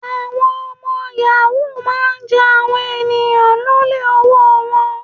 Àwọn ọmọ yàhú máa ń ja àwọn ènìyàn lólè owóo wọn.